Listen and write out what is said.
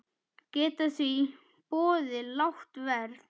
Geta því boðið lágt verð.